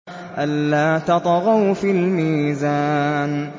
أَلَّا تَطْغَوْا فِي الْمِيزَانِ